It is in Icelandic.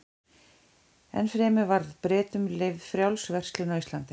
Enn fremur var Bretum leyfð frjáls verslun á Íslandi.